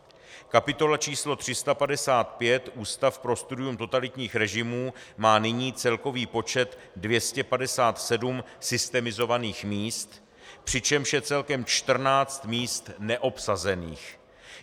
Kapitola č. 355 Ústav pro studium totalitních režimů má nyní celkový počet 257 systemizovaných míst, přičemž je celkem 14 míst neobsazených.